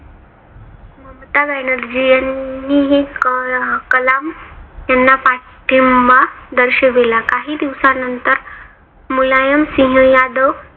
ममता ब्यानर्जी यांनीही कलम यांना पाठींबा दर्शविला. काही दिवसानंतर मुलायमसिंह यादव